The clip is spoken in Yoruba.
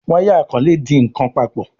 Waya ikole dì nkán papọ̀.